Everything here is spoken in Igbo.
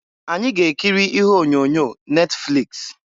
Anyị ga-ekiri ihe onyonyo Netfliks.